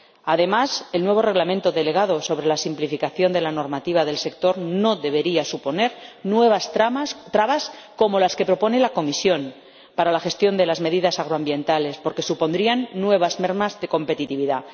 Además, el nuevo Reglamento delegado sobre la simplificación de la normativa del sector no debería suponer nuevas trabas como las que propone la Comisión para la gestión de las medidas agroambientales, porque supondrían nuevas mermas de competitividad.